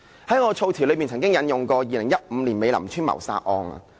在我發言中，曾經引用過2015年美林邨謀殺案。